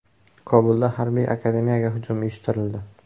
Kobulda harbiy akademiyaga hujum uyushtirildi.